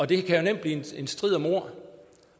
det kan nemt blive en strid om ord